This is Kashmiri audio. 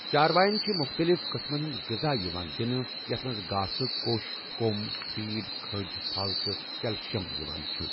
چارواین چھِ مختلف قٕسمن ہٕنٛدۍ غذا یِوان دِنہٕ یتھ منٛز گاسہٕ کوٚش کۄم فیٖڈ کھٔج پھل تہٕ کٮ۪لشیم یِوان چھُ۔